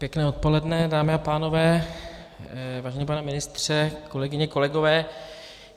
Pěkné odpoledne, dámy a pánové, vážený pane ministře, kolegyně, kolegové.